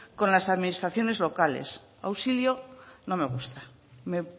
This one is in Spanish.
con las administraciones locales auxilio no me gusta me